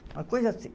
Uma coisa assim.